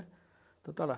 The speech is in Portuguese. Então está lá.